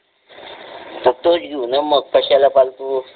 तोच घेऊ ना मग कशाला फालतू